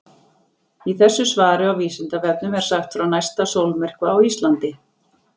í þessu svari á vísindavefnum er sagt frá næsta sólmyrkva á íslandi